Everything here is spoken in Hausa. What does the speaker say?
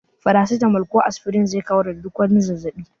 Farasitamol ko asfirin zai kawar da duk wani zazzabi.